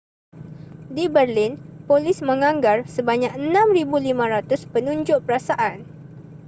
di berlin polis menganggar sebanyak 6,500 penunjuk perasaan